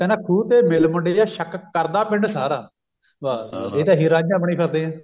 ਖੂਹ ਤੇ ਮਿਲ ਮੁੰਡਿਆ ਸ਼ਕ ਕਰਦਾ ਪਿੰਡ ਸਾਰਾ ਇਹ ਤਾਂ ਇਹੀ ਰਾਂਝਾ ਬਣੀ ਫਿਰਦੇ ਆ